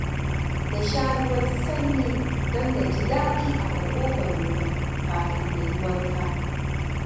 Na sha ruwan sanyi don na ji daɗi a maƙogwarona kafin na yi wanka.